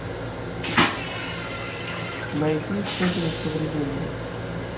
найти что нибудь современное